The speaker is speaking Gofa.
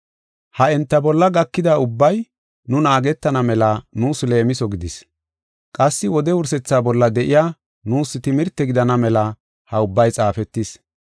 Ha enta bolla gakida ubbay nu naagetana mela nuus leemiso gidis. Qassi wode wursethaa bolla de7iya nuus timirte gidana mela ha ubbay xaafetis.